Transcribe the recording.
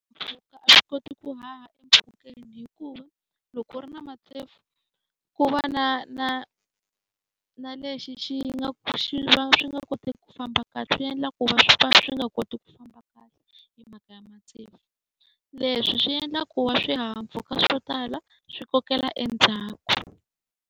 swi koti ku haha hikuva loko u ri na ku va na na na lexi xi nga xi va swi nga koteki ku famba kahle swi endla ku va swi nga koti ku famba kahle Leswi swi endla ku va wa swihahampfhuka swo tala swi kokela endzhaku.